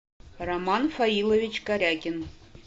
роман фаилович корягин